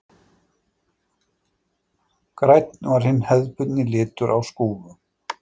Grænn var hinn hefðbundni litur á skúfum.